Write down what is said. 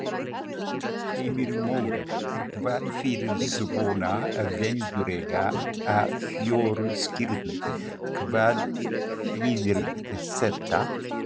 Heimir Már: En hvað fyrir svona venjulega fjölskyldu, hvað þýðir þetta?